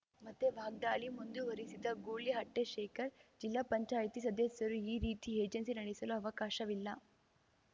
ಮತ್ತೆ ವಾಗ್ದಾಳಿ ಮುಂದುವರಿಸಿದ ಗೂಳಿಹಟ್ಟಿಶೇಖರ್‌ ಜಿಲ್ಲಾ ಪಂಚಾಯತಿ ಸದಸ್ಯರು ಈ ರೀತಿ ಏಜೆನ್ಸಿ ನಡೆಸಲು ಅವಕಾಶವಿಲ್ಲ